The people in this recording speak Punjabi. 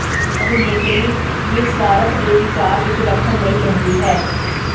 ਅਭਿਨੇਤਰੀ ਨਿਰਸਵਾਰਥ ਦੇ ਵਿਚਾਰ ਵਿੱਚ ਰੱਖਣ ਲਈ ਕਹਿੰਦੀ ਹੈ